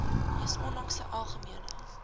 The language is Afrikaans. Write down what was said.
mees onlangse algemene